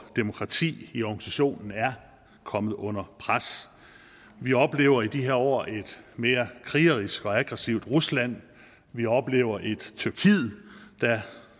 demokrati i organisationen er kommet under pres vi oplever i de her år et mere krigerisk og aggressivt rusland vi oplever et tyrkiet der